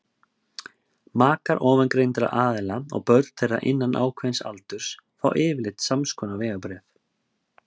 makar ofangreindra aðila og börn þeirra innan ákveðins aldurs fá yfirleitt samskonar vegabréf